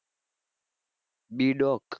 B. doc